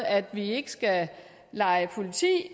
at vi ikke skal lege politi